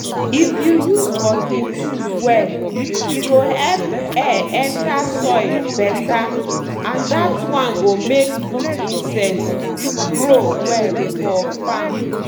if you use working tools well e go help air enter soil better and that one go make good inscets grow well for farm.